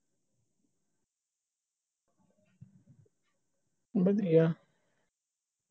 ਹੋਰ ਵਧੀਆ